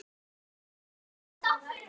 Þær urðu